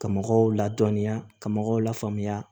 Ka mɔgɔw ladɔnniya ka mɔgɔw lafaamuya